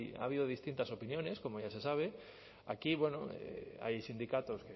ha habido distintas opiniones como ya se sabe aquí hay sindicatos